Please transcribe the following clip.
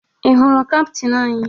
Ị hụrụ kaptịn anyị?